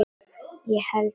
Ég held það,